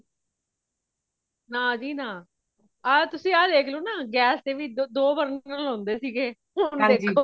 ਨਾ ਜੀ ਨਾ , ਆ ਤੁਸੀਂ ਇਹ ਦੇਖ ਲੋ ਨਾ gas ਦੇ ਵੀ ਦੋ burner ਹੋਂਦੇ ਸੀਗੇ ਹੋਣ ਦੇਖੋ।